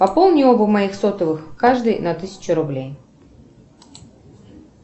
пополни оба моих сотовых каждый на тысячу рублей